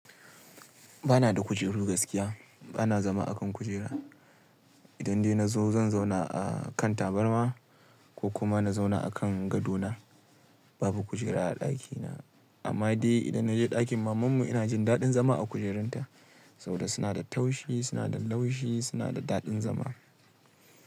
Ba na da kujeru gaskiya, ba na zama akan kujera. Idan dai na zo zan zauna a kan tabarma ko kuma na zauna akan gadona. Babu kujera a ɗakina. Amma dai idan na je ɗakin mamanmu ina jin daɗin zama a kujerunta saboda suna da taushi, suna da laushi, suna da daɗin zama.